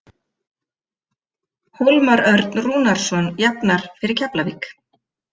Hólmar Örn Rúnarsson jafnar fyrir Keflavík.